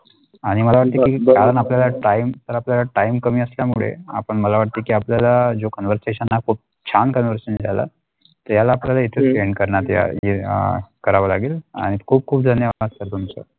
आणि मला अगदी कारण आपल्याला time तर आपल्या time कमी असल्यामुळे आपण मला वाटते की आपल्याला जो Conversation आहोत तो खूप छान करून असुन जाला त्याला आपल्याला येथे end करणार द्या अ करावा लागेल आणि खूप खूप धन्यवाद sir तुमचे.